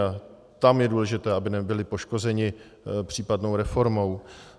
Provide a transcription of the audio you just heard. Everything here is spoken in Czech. A tam je důležité, aby nebyli poškozeni případnou reformou.